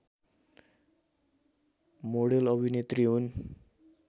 model अभिनेत्री हुन्